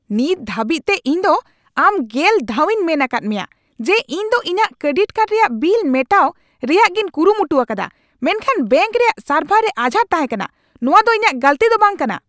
ᱱᱤᱛ ᱫᱷᱟᱹᱵᱤᱡᱛᱮ ᱤᱧ ᱫᱚ ᱟᱢ ᱜᱮᱞ ᱫᱷᱟᱣᱤᱧ ᱢᱮᱱ ᱟᱠᱟᱫ ᱢᱮᱭᱟ ᱡᱮ ᱤᱧ ᱫᱚ ᱤᱧᱟᱜ ᱠᱨᱮᱰᱤᱴ ᱠᱟᱨᱰ ᱨᱮᱭᱟᱜ ᱵᱤᱞ ᱢᱮᱴᱟᱣ ᱨᱮᱭᱟᱜᱤᱧ ᱠᱩᱨᱩᱢᱩᱴᱩ ᱟᱠᱟᱫᱟ ᱢᱮᱱᱠᱷᱟᱱ ᱵᱮᱝᱠ ᱨᱮᱭᱟᱜ ᱥᱟᱨᱵᱷᱟᱨ ᱨᱮ ᱟᱡᱷᱟᱴ ᱛᱟᱦᱮᱠᱟᱱᱟ ᱾ ᱱᱚᱣᱟ ᱫᱚ ᱤᱧᱟᱜ ᱜᱟᱹᱞᱛᱤ ᱫᱚ ᱵᱟᱝ ᱠᱟᱱᱟ !